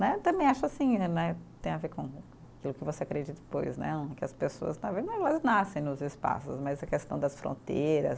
Né, também acho assim né, tem a ver com aquilo que você acredita depois né, que as pessoas nascem nos espaços, mas a questão das fronteiras